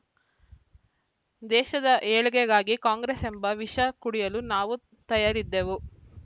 ದೇಶದ ಏಳ್ಗೆಗಾಗಿ ಕಾಂಗ್ರೆಸ್‌ ಎಂಬ ವಿಷ ಕುಡಿಯಲೂ ನಾವು ತಯಾರಿದ್ದೆವು